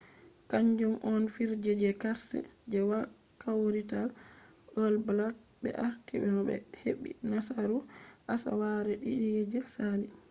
kaanjum on fijerde je karse je kawrital all blacks ɓe arti no ɓe heɓɓi nasaru asawere ɗiɗi je sali